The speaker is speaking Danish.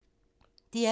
DR P2